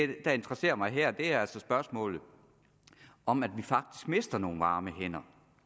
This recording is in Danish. det der interesserer mig her er altså spørgsmålet om at vi faktisk mister nogle varme hænder